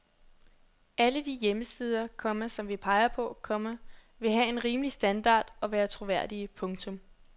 Alle de hjemmesider, komma som vi peger på, komma vil have en rimelig standard og være troværdige. punktum